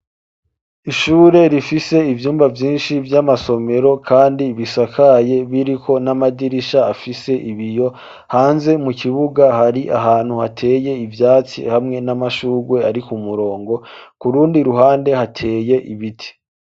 Ishure rifise ivyumba vyinshi vy'amasomero, kandi bisakaye biriko n'amadirisha afise ibiyo hanze mu kibuga hari ahantu hateye ivyatsi hamwe n'amashurwe ari ku murongo kurundi ruhande hateye ibiti.